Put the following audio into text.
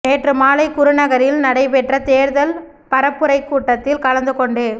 நேற்று மாலை குருநகரில் நடை பெற்ற தேர்தல் பரப்புரைக் கூட்டத்தில் கலந்துகொண்டு